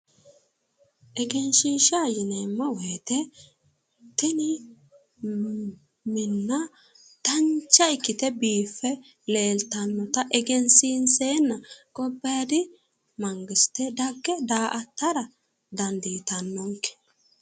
Egenshiisha yineemmo woyite tini minna dancha ikkite biiffe leeltannota egensiinseenna gobbaadi mangiste dagge da'attara dandiitannonke